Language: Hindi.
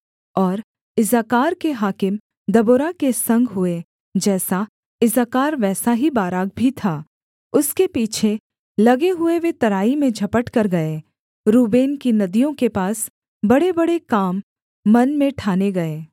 और इस्साकार के हाकिम दबोरा के संग हुए जैसा इस्साकार वैसा ही बाराक भी था उसके पीछे लगे हुए वे तराई में झपटकर गए रूबेन की नदियों के पास बड़ेबड़े काम मन में ठाने गए